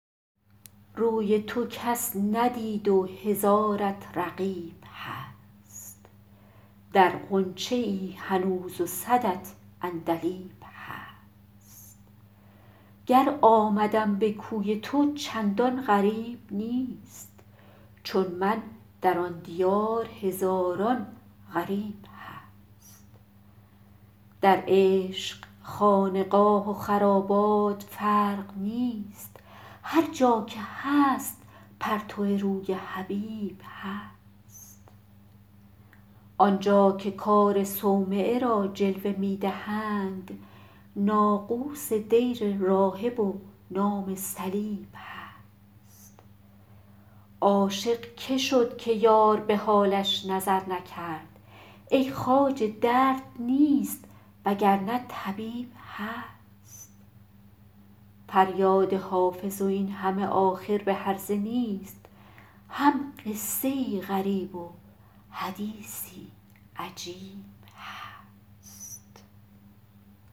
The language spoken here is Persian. روی تو کس ندید و هزارت رقیب هست در غنچه ای هنوز و صدت عندلیب هست گر آمدم به کوی تو چندان غریب نیست چون من در آن دیار هزاران غریب هست در عشق خانقاه و خرابات فرق نیست هر جا که هست پرتو روی حبیب هست آن جا که کار صومعه را جلوه می دهند ناقوس دیر راهب و نام صلیب هست عاشق که شد که یار به حالش نظر نکرد ای خواجه درد نیست وگرنه طبیب هست فریاد حافظ این همه آخر به هرزه نیست هم قصه ای غریب و حدیثی عجیب هست